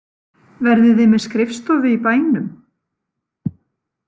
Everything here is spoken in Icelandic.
Verðið þið með skrifstofu í bænum?